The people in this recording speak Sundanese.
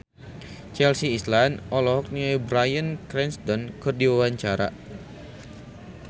Chelsea Islan olohok ningali Bryan Cranston keur diwawancara